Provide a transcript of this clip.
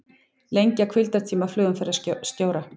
Lengja hvíldartíma flugumferðarstjóra